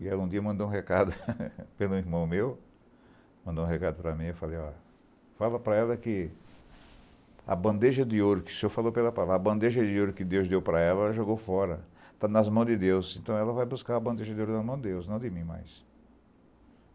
E ela um dia mandou um recado pelo irmão meu, mandou um recado para mim, eu falei ó, fala para ela que a bandeja de ouro que o senhor falou para ela fala, a bandeja de ouro que Deus deu para ela, ela jogou fora, tá nas mãos de Deus, então ela vai buscar a bandeja de ouro nas mãos de Deus, não de mim mais.